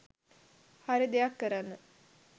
හරි දෙයක් කරන්න